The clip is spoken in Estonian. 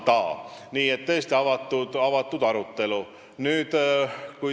Seal on tõesti avatud arutelu.